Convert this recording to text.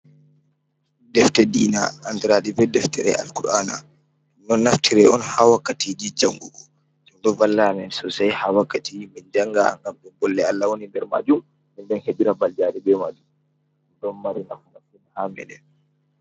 Defte diina andiraaɗi be deftere Al-kur'aana, ɗum ɗon naftire on ha wakkatiiji jangugo, ɗum ɗo valla amin soosai ha wakkati min jangata, ngam ɗum bolle Allah woni nder maajum, min ɗon heɓira mbaljaari be maajum, ɗum ɗon mari nafu masin ha meɗen.